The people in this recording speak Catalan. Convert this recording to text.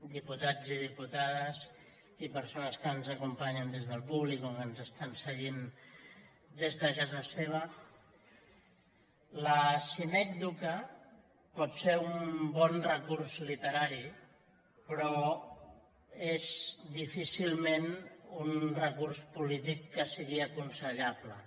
diputats i diputades i persones que ens acompanyen des del públic o que ens estan seguint des de casa seva la sinècdoque pot ser un bon recurs literari però és difícilment un recurs polític que sigui aconsellable